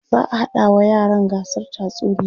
za'a haɗa wa yaran gasar tatsuniya